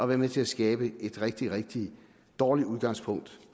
været med til at skabe et rigtig rigtig dårligt udgangspunkt